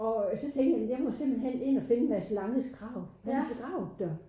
Og øh så tænkte jeg jeg må simpelthen ind og finde Mads langes grav han er begravet der